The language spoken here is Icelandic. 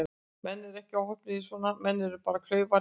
Menn eru ekkert óheppnir í svona, menn eru bara klaufar eða ekki.